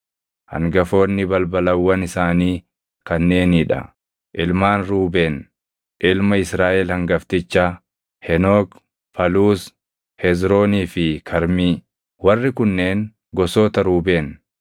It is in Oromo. Hangafoonni balbalawwan isaanii kanneenii dha: Ilmaan Ruubeen ilma Israaʼel hangaftichaa: Henook, Faluus, Hezroonii fi Karmii. Warri kunneen gosoota Ruubeen.